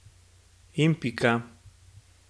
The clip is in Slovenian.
In pika.